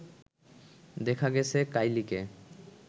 দেখা গেছে কাইলিকে